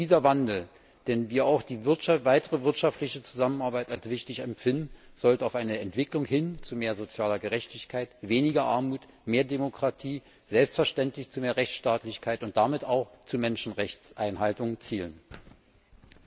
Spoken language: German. Dieser Wandel, den wir wie auch die weitere wirtschaftliche Zusammenarbeit als richtig empfinden, sollte auf eine Entwicklung hin zu mehr sozialer Gerechtigkeit, weniger Armut, mehr Demokratie, selbstverständlich zu mehr Rechtsstaatlichkeit und damit auch zur Einhaltung der Menschenrechte abzielen.